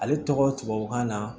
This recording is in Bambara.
Ale tɔgɔ tubabukan na